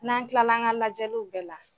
N'an tilala an ŋa lajɛliw bɛɛ la